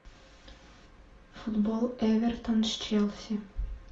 футбол эвертон с челси